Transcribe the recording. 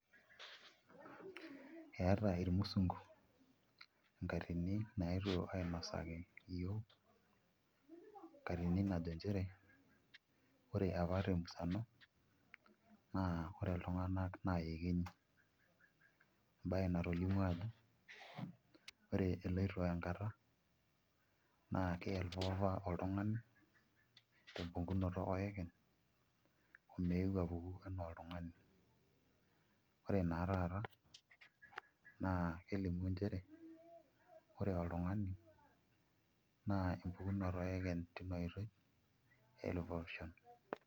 Eeta irmusungu enkatini nayetuo ainosaki iyiook enakatni naji njere ore pa te musano naa ore iltung'anak naa iekenyi embaye natolimuo ajo eloito enkatta naa kelotu apa oltung'ani tempukunoto oekeny omeeu apuku enaa oltung'ani ore naa taata naa kelimu nchere ore oltung'ani naa empukunoto oekeny tina oitoi elikae osho.